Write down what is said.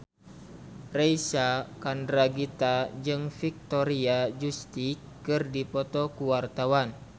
Reysa Chandragitta jeung Victoria Justice keur dipoto ku wartawan